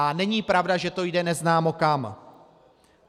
A není pravda, že to jde neznámo kam.